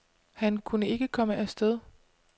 Han kunne ikke komme af sted.